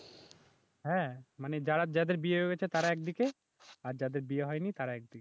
হ্যাঁ মানে যারা যাদের বিয়ে হয়ে গেছে তারা একদিকে, আর যাদের বিয়ে হয়নি তারা একদিকে